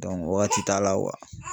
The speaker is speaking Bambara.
wagati t'a la